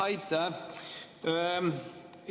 Aitäh!